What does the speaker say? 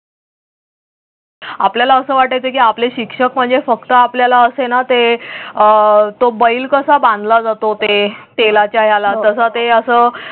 आपल्याला असं वाटायचं की आपले शिक्षक म्हणजे फक्त आपल्याला असेना ते अह तो बैल कसा बांधला जातो ते तेलाच्या याला तस ते असं